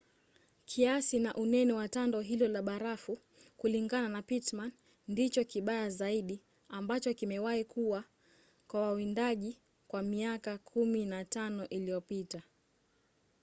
kiasi na unene wa tando hilo la barafu kulingana na pittman ndicho kibaya zaidi ambacho kimewahi kuwa kwa wawindaji kwa miaka 15 iliyopita